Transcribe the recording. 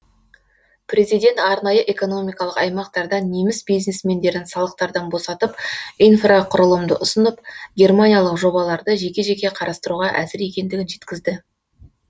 президент арнайы экономикалық аймақтарда неміс бизнесмендерін салықтардан босатып инфрақұрылымды ұсынып германиялық жобаларды жеке жеке қарастыруға әзір екендігін жеткізді